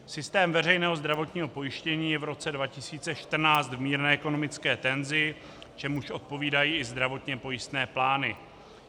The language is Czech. Systém veřejného zdravotního pojištění je v roce 2014 v mírné ekonomické tenzi, čemuž odpovídají i zdravotně pojistné plány.